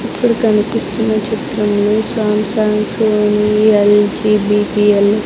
ఇక్కడ కనిపిస్తున్న చిత్రంలో Samsung Sony L G B T L --